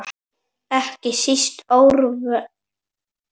Ekki síst Örnólf.